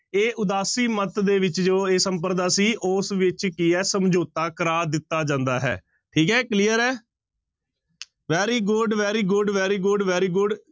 ਇਹ ਉਦਾਸੀ ਮੱਤ ਦੇ ਵਿੱਚ ਜੋ ਇਹ ਸੰਪਰਦਾ ਸੀ ਉਸ ਵਿੱਚ ਕੀ ਹੈ ਸਮਝੋਤਾ ਕਰਾ ਦਿੱਤਾ ਜਾਂਦਾ ਹੈ ਠੀਕ ਹੈ clear ਹੈ very good, very good, very good, very good